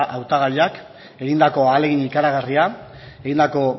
hautagaiak egindako ahalegin ikaragarria egindako